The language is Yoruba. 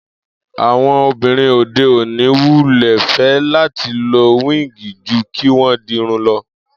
Àwo̩n obìnrin òde òní wulè̩ fé̩ láti lo wíìgì ju kí wó̩n di irun lo̩